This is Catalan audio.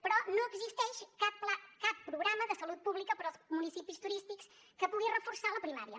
però no existeix cap programa de salut pública per als municipis turístics que pugui reforçar la primària